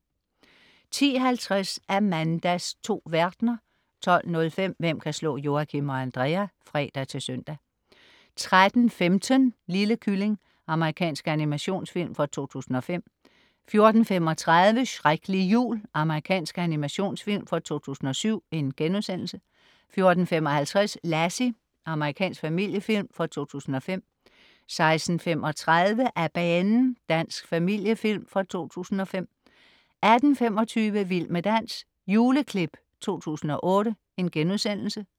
10.50 Amandas 2 verdner 12.05 Hvem kan slå Joachim og Andrea? (fre-søn) 13.15 Lille kylling. Amerikansk animationsfilm fra 2005 14.35 Shreklig jul. Amerikansk animationsfilm fra 2007 * 14.55 Lassie. Amerikansk familiefilm fra 2005 16.35 Af banen! Dansk familiefilm fra 2005 18.25 Vild med dans. Juleklip 2008*